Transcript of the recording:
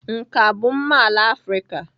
Nka bụ mma ala Afrịka.